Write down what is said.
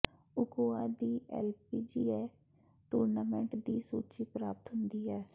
Ochoa ਦੀ LPGA tournament ਦੀ ਸੂਚੀ ਪ੍ਰਾਪਤ ਹੁੰਦੀ ਹੈ